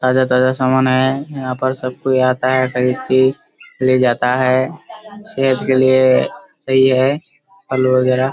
ताजा-ताजा सामान आया है। यहाँ पर सब कोई आता है तथा इसकी ले जाता है। सेहत के लिए सही है फल वगैरा।